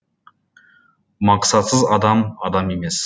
мақсатсыз адам адам емес